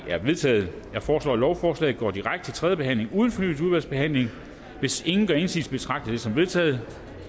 er vedtaget jeg foreslår at lovforslaget går direkte til tredje behandling uden fornyet udvalgsbehandling hvis ingen gør indsigelse betragter jeg det som vedtaget